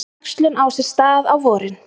Æxlun á sér stað á vorin.